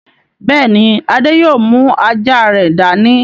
Bẹ́ẹ̀ ni, Adé yóò mú ajá rẹ̀ dání.